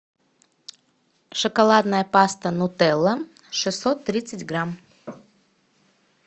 шоколадная паста нутелла шестьсот тридцать грамм